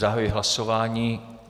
Zahajuji hlasování.